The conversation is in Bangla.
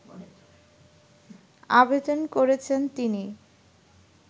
আবেদন করেছেন তিনি